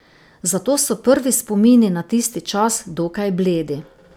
Zato so prvi spomini na tisti čas dokaj bledi.